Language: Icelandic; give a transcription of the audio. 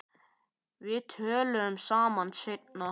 Við tölum saman seinna.